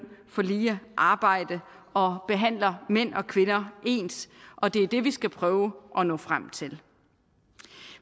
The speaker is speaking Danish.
for lige arbejde og behandler mænd og kvinder ens og det er det vi skal prøve at nå frem til